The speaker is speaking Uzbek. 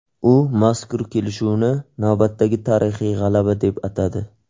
U mazkur kelishuvni navbatdagi tarixiy g‘alaba deb atadi.